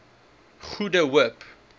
goede hoop